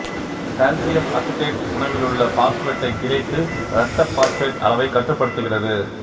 calcium acetate உணவிலுள்ள பாசுபேட்டை பிணைத்து இரத்த பாசுபேட் அளவைக் கட்டுபடுத்துகிறது